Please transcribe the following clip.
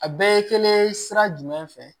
A bɛɛ ye kelen sira jumɛn fɛ